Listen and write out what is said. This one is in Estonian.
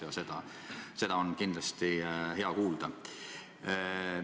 Ja seda on kindlasti hea kuulda.